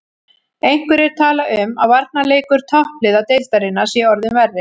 Einhverjir tala um að varnarleikur toppliða deildarinnar sé orðinn verri.